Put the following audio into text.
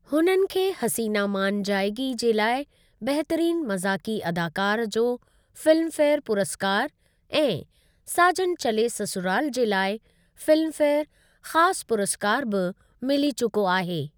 हुननि खे 'हसीना मान जाएगी' जे लाइ बहितरीन मज़ाक़ी अदाकार जो फिल्मफेयर पुरस्कार ऐं 'साजन चले ससुराल' जे लाइ फिल्मफेयर ख़ासु पुरस्कार बि मिली चुको आहे।